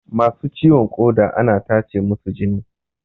Masu ciwon ƙoda ana tacemusu jini